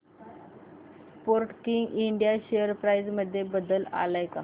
Sportking India share price मध्ये बदल आलाय का